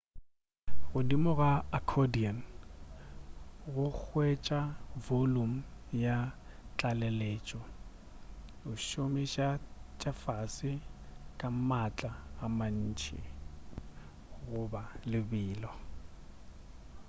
godimo ga accordion go hwetša volume ya tlaleletšo o šomiša tša fase ka maatla a mantši goba lebelo